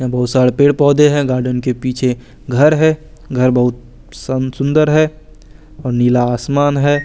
बोहोत सारे पेड़ पौधे है गार्डन के पीछे घर है घर बोहोत सुन्दर है और नीला आसमान है।